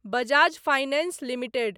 Bajaj Finance limited